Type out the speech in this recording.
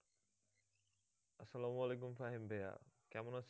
আসসালামুয়ালাইকুম ফাহিম ভাইয়া কেমন আছেন?